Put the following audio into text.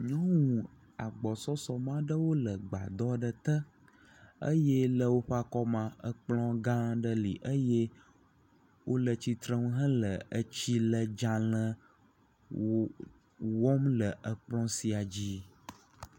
Nyɔnu agbɔsɔsɔ me aɖewo le agbadɔ aɖe te eye le woãe akɔmea, ekplɔ gã aɖe le eye wole tsitrenu hele etsiledzale wɔm le ekplɔ sia dzi.